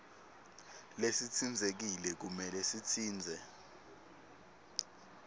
lesitsintsekile kumele sitsintse